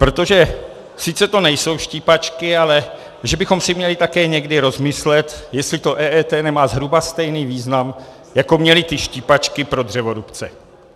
Protože sice to nejsou štípačky, ale že bychom si měli také někdy rozmyslet, jestli to EET nemá zhruba stejný význam, jako měly ty štípačky pro dřevorubce.